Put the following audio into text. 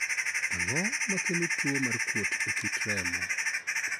Ang'o makelo tuwo mar kuot e kit remo?